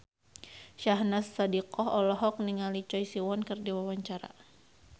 Syahnaz Sadiqah olohok ningali Choi Siwon keur diwawancara